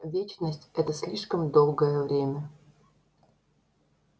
вечность это слишком долгое время